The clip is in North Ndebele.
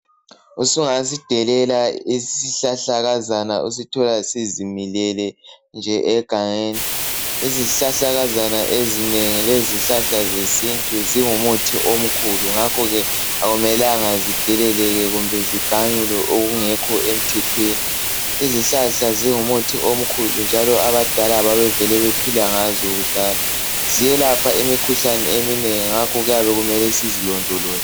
Usungasidelela isihlahlakazana usithola sizimilele nje egangeni izihlahlakazana ezinengi lezihlahla zesintu zingumuthi omkhulu ngakhoke akumelanga zideleleke kumbe e ziganyulwe okungekho emthethweni. Izihlahla zingumuthi omkhulu njalo abadala babevele bephila ngazo kudala ziyelapha imikhuhlane eminengi